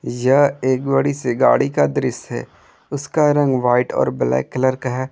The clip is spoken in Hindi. यह एक बड़ी सी गाड़ी का दृश्य है उसका रंग व्हाइट और ब्लैक कलर का है।